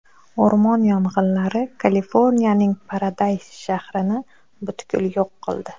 O‘rmon yong‘inlari Kaliforniyaning Paradays shahrini butkul yo‘q qildi.